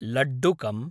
लड्डुकम्